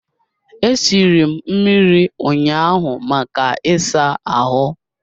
E siri m mmiri ụnyaahụ maka ịsa ahụ